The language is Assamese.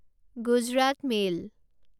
গুজৰাট মেইল